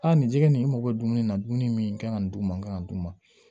Aa nin jɛgɛ nin mago bɛ dumuni na dumuni min kan ka nin d'u ma n ka d'u ma